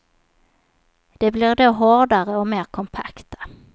De blir då hårdare och mer kompakta.